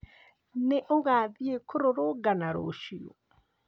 Nĩ ũgathiĩ kũrũrũngana rũciũ?